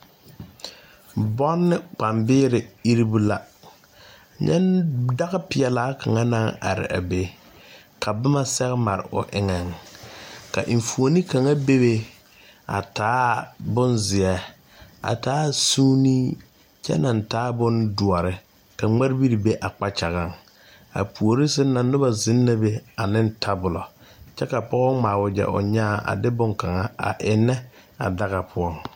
Bɔnne kpambeere iribu la dagapeɛlaa kaŋa are a be ka boma sɛge mare o eŋɛ ka enfuoni kaŋa bebe a taa bone zeɛ a taa zuuni kyɛ naŋ taa bondoɔre ka ŋmarebiri be a kpakyagaŋ a puori sɛŋ na noba zeŋ la ane tabola kyɛ ka pɔge ŋmaa wagyɛ o nyaa a de boŋkaŋa ennɛ a daga poɔ.